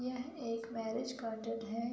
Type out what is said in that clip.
यह एक marriage garden है।